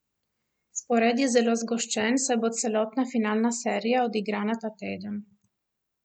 Spored je zelo zgoščen, saj bo celotna finalna serija odigrana ta teden.